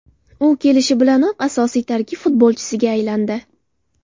U kelishi bilanoq asosiy tarkib futbolchisiga aylandi.